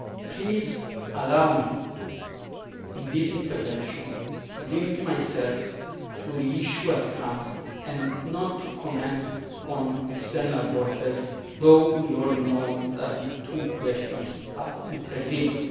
Please allow me in this intervention to limit myself to the issue at hand and not comment on external borders, although we all know that the two questions are interlinked.